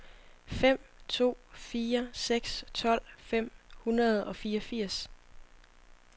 fem to fire seks tolv fem hundrede og fireogfirs